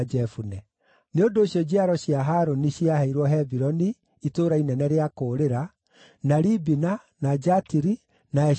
Nĩ ũndũ ũcio njiaro cia Harũni ciaheirwo Hebironi (itũũra inene rĩa kũũrĩra) na Libina, na Jatiri, na Eshitemoa,